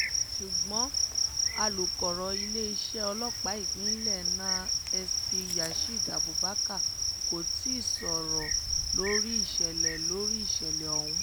ṣùgbọ́n alukoro iléeṣẹ́ ọlọ́pàá ìpínlẹ̀ náàinsp yasid abubakar kò tí ì sọ̀rọ̀ lórí ìṣẹ̀lẹ̀ lórí ìṣẹ̀lẹ̀ ọ̀hún